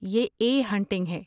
یہ 'a hunting' ہے۔